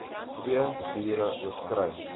twee biere oorskry